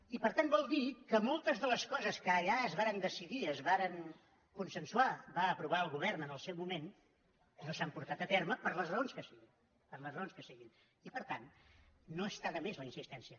i per tant vol dir que moltes de les coses que allà es varen decidir i es varen consensuar va aprovar el govern en el seu mo·ment no s’han portat a terme per les raons que siguin per les raons que siguin i per tant no està de més la insistència